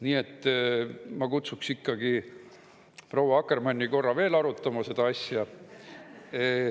Nii et ma kutsuksin ikkagi proua Akkermanni korra veel arutama seda asja.